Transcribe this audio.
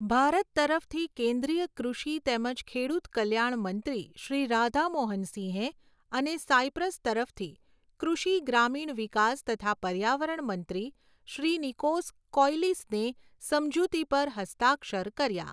ભારત તરફથી કેન્દ્રીય કૃષિ તેમજ ખેડૂત કલ્યાણ મંત્રી શ્રી રાધા મોહન સિંહે અને સાઈપ્રસ તરફથી કૃષિ ગ્રામીણ વિકાસ તથા પર્યાવરણ મંત્રી શ્રી નિકોસ કૌયલિસને સમજૂતી પર હસ્તાક્ષર કર્યા.